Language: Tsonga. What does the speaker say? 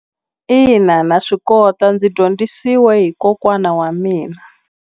Ina na swi kota ndzi dyondzisiwe hi kokwana wa mina.